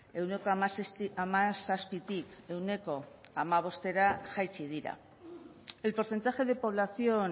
ehuneko hamazazpitik ehuneko hamabostera jaitsi dira el porcentaje de población